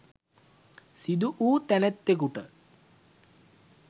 සිදු වූ තැනැත්තෙකුට